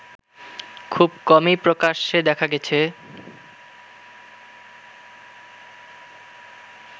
খুব কমই প্রকাশ্যে দেখা গেছে